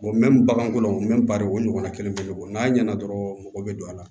bagankolon bari o ɲɔgɔnna kelen bɛ bɔ n'a ɲɛna dɔrɔn mɔgɔ bɛ don a la